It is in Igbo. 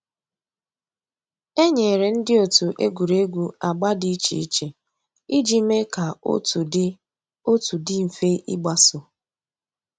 É nyéré ndị́ ótú ègwùrégwú àgbà dị́ ìchè ìchè ìjì méé kà otu dị́ otu dị́ m̀fè ígbàsó.